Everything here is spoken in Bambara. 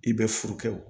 I bɛ furu kɛ wo